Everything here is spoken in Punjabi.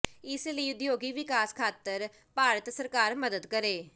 ਇਸ ਲਈ ਉਦਯੋਗਿਕ ਵਿਕਾਸ ਖਾਤਰ ਭਾਰਤ ਸਰਕਾਰ ਮੱਦਦ ਕਰੇ